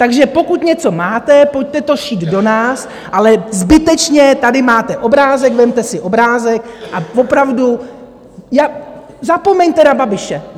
Takže pokud něco máte, pojďte to šít do nás, ale zbytečně - tady máte obrázek , vezměte si obrázek a opravdu, zapomeňte na Babiše.